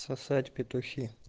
сосать петухи